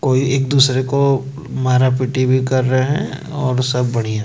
कोई एक दूसरे को मारा पीटी भी कर रहे हैं और सब बढ़िया--